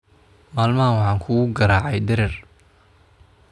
Maalmahan waxaan kugu garaacay dherer